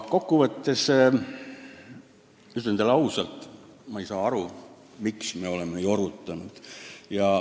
Kokku võttes ütlen teile ausalt: ma ei saa aru, miks me oleme jorutanud.